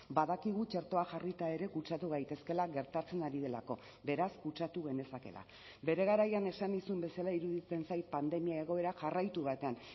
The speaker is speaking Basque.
badakigu txertoa jarrita ere kutsatu gaitezkeela gertatzen ari delako beraz kutsatu genezakeela bere garaian esan nizun bezala iruditzen zait pandemia egoera jarraitu batean